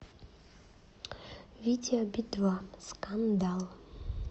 видео би два скандал